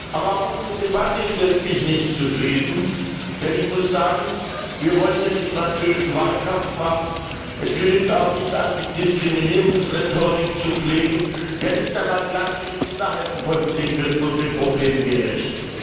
Aber auch unsere Debatte stellt mich nicht zufrieden, denn ich muss sagen Wir wollen hier nicht französischen Wahlkampf machen, es genügt auch nicht Antidiskrimierungsrhetorik zu pflegen, ja nicht einmal klassische Minderheitenpolitik wird dem Problem gerecht.